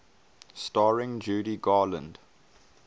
starring judy garland